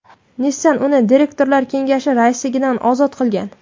Nissan uni direktorlar kengashi raisligidan ozod qilingan .